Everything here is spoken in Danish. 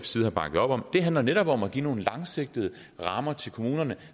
side har bakket op om det handler netop om at give nogle langsigtede rammer til kommunerne